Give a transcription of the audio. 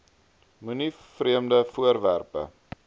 moenie vreemde voorwerpe